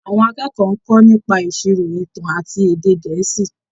Àwọn akẹ́kọ̀ọ́ ń kọ́ nípa ìṣirò, ìtàn àti èdè Gẹ̀ẹ́sì.